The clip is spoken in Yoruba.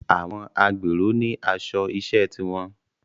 Àwọn agbèrò ní aṣọ iṣẹ́ ti wọn